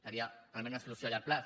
seria realment una solució a llarg termini